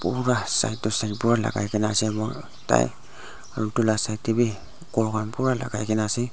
kunba side teh signboard lagai ke na ase moi tai aru etu laga side teh bhi ghor khan pura lagai ke na ase.